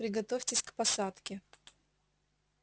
приготовьтесь к посадке